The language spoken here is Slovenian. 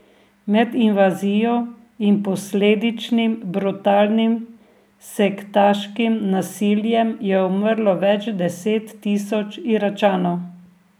Med invazijo in posledičnim brutalnim sektaškim nasiljem je umrlo več deset tisoč Iračanov.